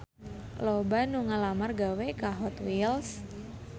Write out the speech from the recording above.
Loba anu ngalamar gawe ka Hot Wheels